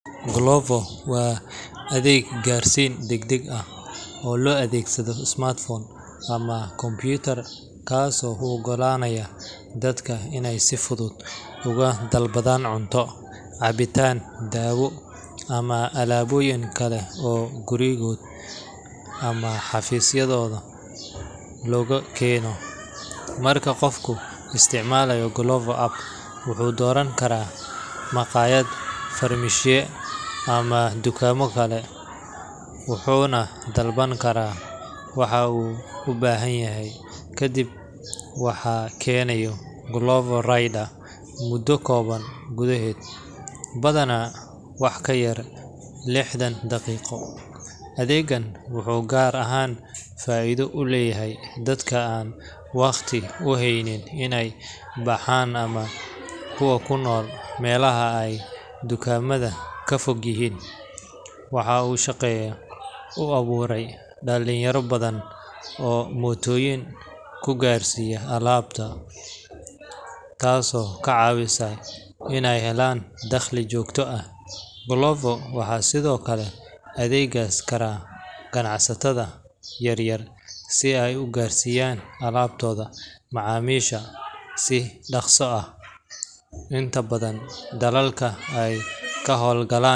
Glovo waa adeeg gaarsiin degdeg ah oo loo adeegsado smartphone ama computer, kaasoo u oggolaanaya dadka inay si fudud uga dalbadaan cunto, cabitaan, dawo, ama alaabooyin kale oo gurigooda ama xafiiskooda loogu keeno. Marka qofku isticmaalo Glovo app, wuxuu dooran karaa maqaayad, farmashiye ama dukaamo kale, wuxuuna dalban karaa waxa uu u baahanyahay, kadibna waxaa keenaya Glovo rider muddo kooban gudaheed, badanaa wax ka yar lixdan daqiiqo. Adeeggan wuxuu gaar ahaan faa’iido u leeyahay dadka aan waqti u haynin inay baxaan ama kuwa ku nool meelaha ay dukaamada ka fog yihiin. Waxa uu shaqo u abuuray dhalinyaro badan oo mootooyin ku gaarsiiya alaabaha, taasoo ka caawisay inay helaan dakhli joogto ah. Glovo waxaa sidoo kale adeegsan kara ganacsatada yaryar si ay u gaarsiiyaan alaabtooda macaamiisha si dhakhso ah. Inta badan dalalka ay ka howlgalaan.